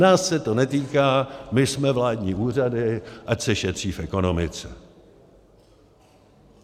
Nás se to netýká, my jsme vládní úřady, ať se šetří v ekonomice!